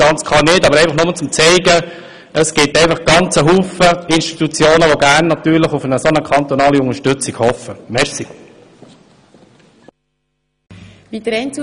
Ich möchte damit nur aufzeigen, dass es sehr viele Institutionen gibt, die ebenfalls gerne auf eine solche kantonale Unterstützung hoffen würden.